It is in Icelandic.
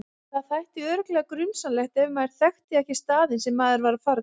Það þætti örugglega grunsamlegt ef maður þekkti ekki staðinn sem maður var að fara til.